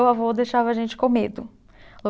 Meu avô deixava a gente com medo